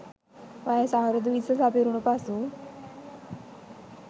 වයස අවුරුදු 20 සපිරුණු පසු